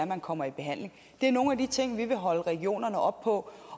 man kommer i behandling det er nogle af de ting vi vil holde regionerne op på